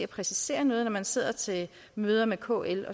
præcisere noget når man sidder til møder med kl